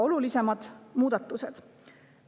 Olulisimad muudatused.